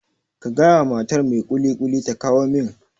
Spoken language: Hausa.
Ka gaya wa matar mai kulikuli ta kawo min